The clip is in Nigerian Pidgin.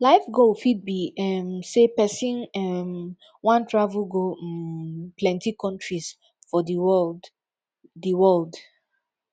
life goal fit be um sey person um wan travel go um plenty countries for di world di world